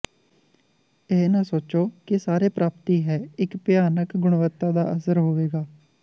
ਇਹ ਨਾ ਸੋਚੋ ਕਿ ਸਾਰੇ ਪ੍ਰਾਪਤੀ ਹੈ ਇੱਕ ਭਿਆਨਕ ਗੁਣਵੱਤਾ ਦਾ ਅਸਰ ਹੋਵੇਗਾ